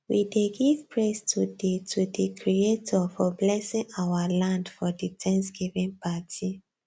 we dey give praise to di to di creator for blesing our land for di thanksgiving party